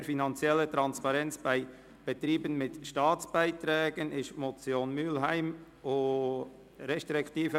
Mehr finanzielle Transparenz bei Staatsbeiträgen» ist die Motion Mühlheim, Bern (glp).